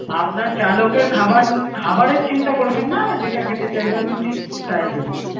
আপনার চালক এর খাবার খাবারের চিন্তা করবেন যেটা খেতে চাইবে আমি ঠিক তাই দেব.